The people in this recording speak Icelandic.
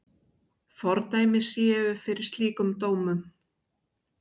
Fordæmi séu fyrir slíkum dómum.